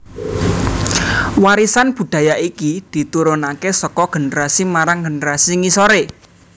Warisan budaya iki diturunakè saka generasi marang generasi ngisorè